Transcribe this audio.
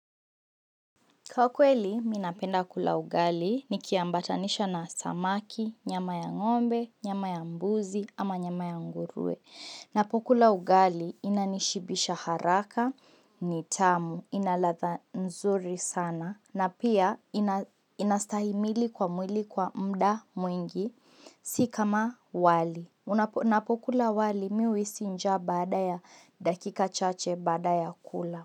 Kwa kweli, minapenda kula ugali, nikia mbatanisha na samaki, nyama ya ng'ombe, nyama ya mbuzi, ama nyama ya nguruwe. Napo kula ugali, inanishibisha haraka, ni tamu, ina ladha nzuri sana, na pia inastahimili kwa mwili kwa mda mwingi, si kama wali. Ninapokula wali, nahisi njaa baada ya dakika chache baada ya kula.